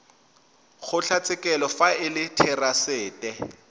kgotlatshekelo fa e le therasete